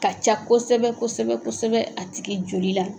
Ka ca kosɛbɛ kosɛbɛ kosɛbɛ a tigi joli la